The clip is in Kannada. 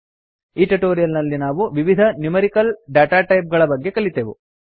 ಈ ಟ್ಯುಟೋರಿಯಲ್ ನಲ್ಲಿ ನಾವು ವಿವಿಧ ನ್ಯೂಮೆರಿಕಲ್ ಡೇಟಾಟೈಪ್ ಗಳ ಬಗ್ಗೆ ತಿಳಿದೆವು